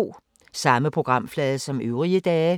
Samme programflade som øvrige dage